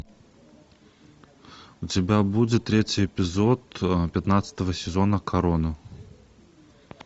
у тебя будет третий эпизод пятнадцатого сезона корона